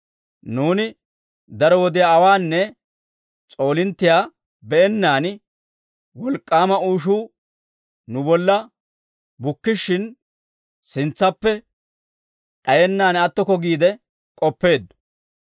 Nuuni daro wodiyaa awaanne s'oolinttiyaa be'ennaan, wolk'k'aama uushuu nu bolla bukkishshin, sintsappe d'ayenaan attokko giide k'oppeeddo.